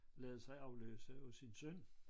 Ladet sig afløse af sin søn